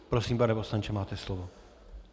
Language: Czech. Prosím, pane poslanče, máte slovo.